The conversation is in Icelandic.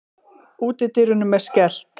Útidyrunum er skellt.